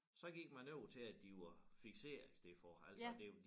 Så gik man over til at de var fikserede i stedet for altså det